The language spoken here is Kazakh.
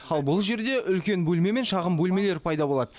ал бұл жерде үлкен бөлмелер мен шағын бөлмелер пайда болады